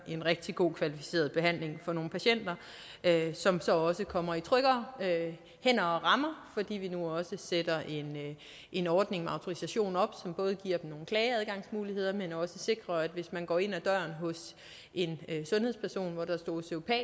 en rigtig god kvalificeret behandling for nogle patienter som så også kommer i tryggere hænder og rammer fordi vi nu sætter en ordning om autorisation op som både giver dem klageadgangsmuligheder men også sikrer at hvis man går ind ad døren hos en sundhedsperson hvor der står osteopat